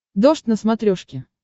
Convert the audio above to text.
дождь на смотрешке